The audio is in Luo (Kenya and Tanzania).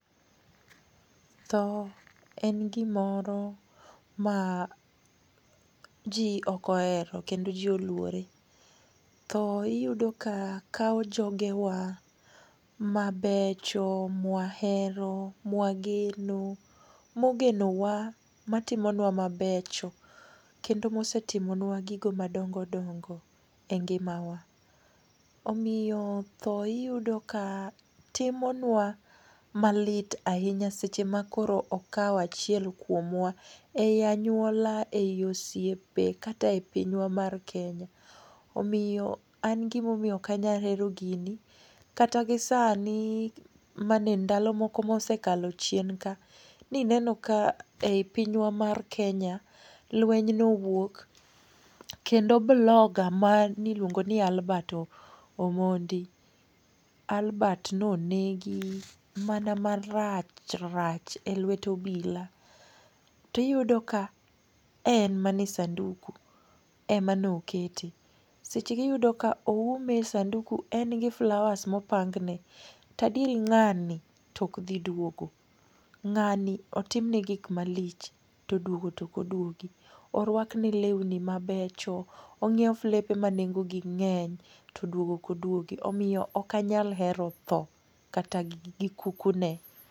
Tho en gimoro ma ji ok ohero kendo ji oluore. Tho iyudo ka kawo jogewa mabecho, mwahero, mwageno , mogenowa, matimonua mabecho kendo mosetimonua gigo madongo dongo e ngimawa. Omiyo tho iyudo ka timonua ma lit ahinya seche ma koro oawo achiel kuomwa ei anyuola kata ei oyiepe kata e pinywa mar Kenya. An gima omiyo ok anyal hero gini kata gisani endalo moko mosekalo chien ka, nine ka ei pinywa mar Kenya lweny nowuok kendo blogger maniluongo ni Albert Omondi, Albert ne onegi mana marach rach elwet obila to iyudo ka en mana e sanduku ema ne okete. Seche go iyudo ka oume e sanduku gi flowers ma opangne. To adiera ng'ani to ok dhi duogo. Ng'ani otimne gik malich. To duogo to ok oduogi, oruakne lewni mabecho, onyiew flepe manengogi ng'eny to duogo to ok oduogi. Omiyo ok anyal hero tho kata gi kuku ne.